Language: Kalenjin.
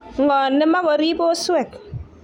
Ng'o ne ma korib oswek?